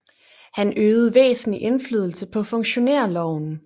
Han øvede væsentlig indflydelse på funktionærloven